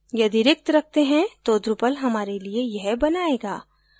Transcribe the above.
यदि रिक्त रखते हैं तो drupal हमारे लिए यह बनायेगा